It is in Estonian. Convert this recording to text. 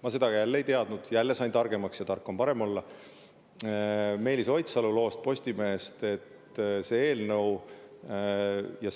Ma seda ka ei teadnud, jälle sain targemaks – ja tark on parem olla – Meelis Oidsalu Postimehe loost, et see